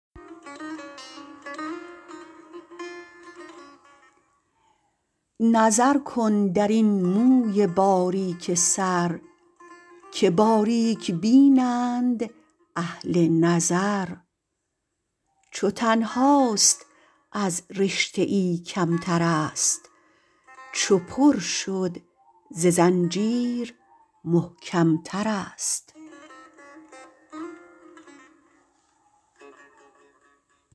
نظر کن درین موی باریک سر که باریک بینند اهل نظر چو تنهاست از رشته ای کمترست چو پر شد ز زنجیر محکمترست